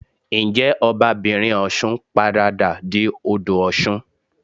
Ǹjẹ́ Ọba'bìnrin Ọ̀ṣun paradà di Odò Ọ̀ṣun?